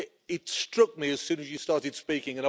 It struck me as soon as you started speaking.